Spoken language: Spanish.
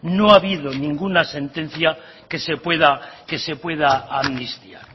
no ha habido ninguna sentencia que se pueda amnistiar